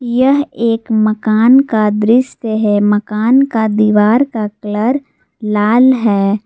यह एक मकान का दृश्य है मकान का दीवार का कलर लाल है।